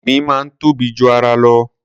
Ìgbín máa ń tóbi ju ara lọ.